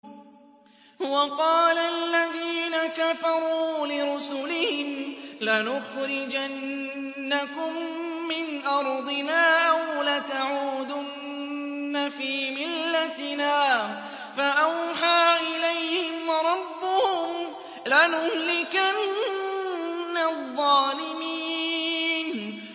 وَقَالَ الَّذِينَ كَفَرُوا لِرُسُلِهِمْ لَنُخْرِجَنَّكُم مِّنْ أَرْضِنَا أَوْ لَتَعُودُنَّ فِي مِلَّتِنَا ۖ فَأَوْحَىٰ إِلَيْهِمْ رَبُّهُمْ لَنُهْلِكَنَّ الظَّالِمِينَ